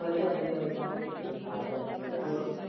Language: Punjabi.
ਵਧੀਆ ਵਧੀਆ ਬਾਈ ਸਾਰੇ ਠੀਕ ਠਾਕ।